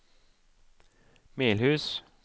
Melhus